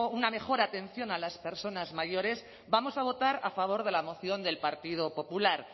una mejor atención a las personas mayores vamos a votar a favor de la moción del partido popular